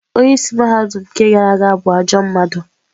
Onye isi mahadum nke gara aga bụ ajọ mmadụ.